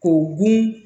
K'o gun